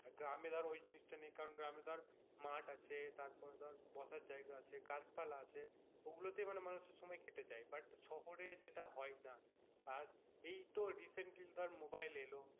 গ্রামে ধর ওই জিনিসটা নেই কারণ গ্রামে ধর মাঠ আছে তারপর ধর বসার জায়গা আছে গাছপালা আছে ওগুলোতেই মানে মানুষের সময় কেটে যায় but শহরে যেটা হয়না আর এইতো recently তোর মোবাইল এলো,